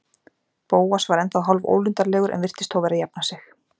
Bóas var ennþá hálfólundarlegur en virtist þó vera að jafna sig.